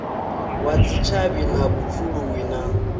wa dzitshavhi na vhupfuluwi na